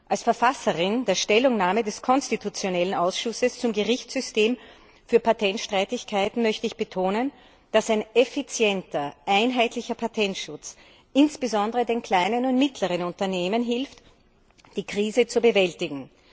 Als Verfasserin der Stellungnahme des konstitutionellen Ausschusses zum Gerichtssystem für Patentstreitigkeiten möchte ich betonen, dass ein effizienter einheitlicher Patentschutz insbesondere den kleinen und mittleren Unternehmen hilft, die Krise zu bewältigen.